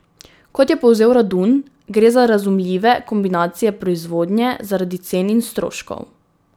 Kot je povzel Radun, gre za razumljive kombinacije proizvodnje zaradi cen in stroškov.